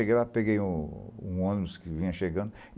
Cheguei lá, peguei um um ônibus que vinha chegando.